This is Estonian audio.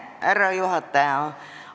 Härra juhataja!